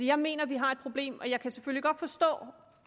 jeg mener at vi har et problem jeg kan selvfølgelig godt forstå